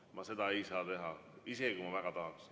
Ma seda ei saa teha, isegi kui ma väga tahaks.